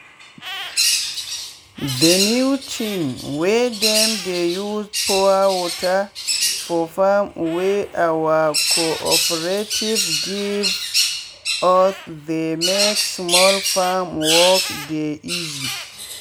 the new thing wey dem dey use pour water for farm wey our co-operative give usthey make small farm work dey easy.